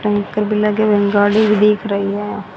Tanker भी लगे हुए है गाड़ी भी दिख रही है।